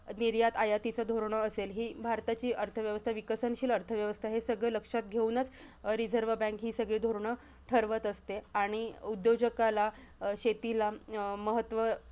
निर्यात-आयातीचं धोरणं असेल, हि भारताची अर्थव्यवस्था, विकसनशील अर्थव्यवस्था हे सगळं लक्षात घेऊनचं रिझर्व बँक हि सगळी धोरणं ठरवत असते. आणि उद्योजकाला शेतीला अं महत्व